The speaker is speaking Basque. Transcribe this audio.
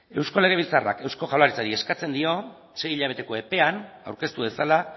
eusko legebiltzarrak eusko jaurlaritzari eskatzen dio sei hilabeteko epean aurkeztu dezala